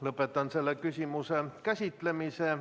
Lõpetan selle küsimuse käsitlemise.